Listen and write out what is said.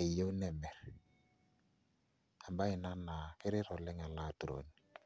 eyiu nemirr, embaye ina naa keret oleng' ele aturoni.